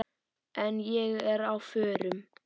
En ég er á förum.